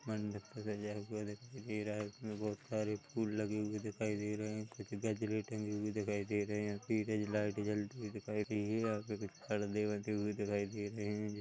मंडप सजाने के वास्ते इसमें बहोत सारे फूल लगे दिखाई दे है कुछ गजरे टंगे हुए दिखाई दे रहे है पीछे लाइट जलते हुए दिखाई दे रहे है यहाँ कुछ परदे लगे हुए दिखाई दे रहे है।